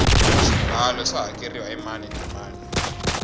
swibalo swa hakeriwa hi mani na mani